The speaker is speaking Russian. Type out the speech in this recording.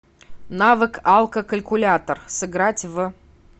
навык алкокалькулятор сыграть в